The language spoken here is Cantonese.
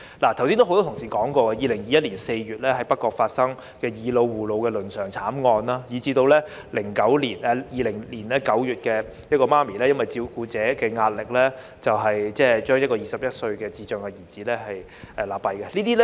剛才有多位同事提述2021年4月在北角發生的"以老護老"倫常慘劇，以及在2020年9月，一名母親疑不堪照顧壓力而將21歲智障兒子勒斃。